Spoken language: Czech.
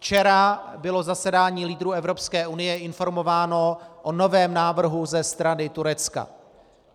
Včera bylo zasedání lídrů Evropské unie informováno o novém návrhu ze strany Turecka.